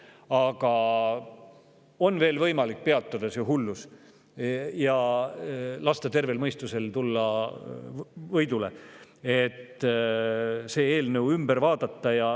Aga on veel võimalik peatada see hullus ja lasta tervel mõistusel pääseda võidule, et see eelnõu ümber vaadata.